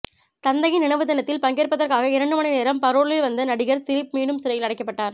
தந்தையின் நினைவு தினத்தில் பங்கேற்பதற்காக இரண்டு மணி நேரம் பரோலில் வந்த நடிகர் திலீப் மீண்டும் சிறையில் அடைக்கப்பட்டார்